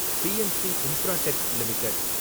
BNC Infratech limited